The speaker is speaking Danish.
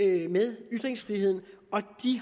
det med ytringsfriheden og de